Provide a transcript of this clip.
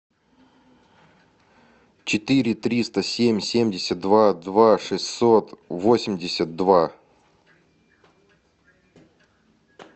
четыре триста семь семьдесят два два шестьсот восемьдесят два